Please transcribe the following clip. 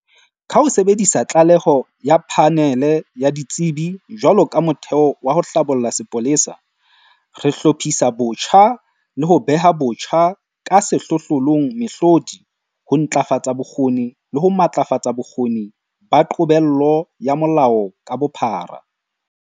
Ka ho sebedisa tlaleho ya Phanele ya Ditsebi jwalo ka motheo wa ho hlabolla sepolesa, re hlophisa botjha le ho beha botjha ka sehlohlolong mehlodi, ho ntlafatsa bokgoni le ho matlafatsa bokgoni ba qobello ya molao ka bophara.